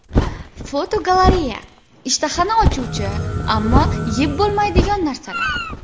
Fotogalereya: Ishtahani ochuvchi, ammo yeb bo‘lmaydigan narsalar.